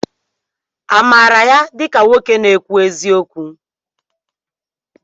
Amaara ya dịka nwoke na-ekwu eziokwu?